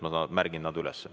Ma märgin need üles.